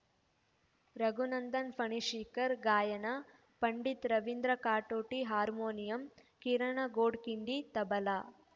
ರಘುನಂದನ್‌ ಫಣಶೀಕರ್‌ ಗಾಯನ ಪಂಡಿತ್ ರವೀಂದ್ರ ಕಾಟೋಟಿ ಹಾರ್ಮೋನಿಯಂ ಕಿರಣ ಗೋಡ್ಖಿಂಡಿ ತಬಲಾ